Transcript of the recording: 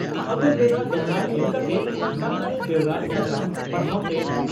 ᱯᱷᱟᱹᱜᱩᱱ ᱵᱷᱮᱫᱟ ᱫᱚᱦᱲᱟ ᱮᱢ ᱠᱟᱛᱮ ᱥᱟᱱᱛᱟᱲᱤ ᱵᱮᱣᱨᱟ ᱥᱟᱠᱟᱢ ᱯᱟᱲᱦᱟᱣ ᱯᱮ